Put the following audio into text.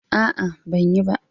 A'a, ban yi ba.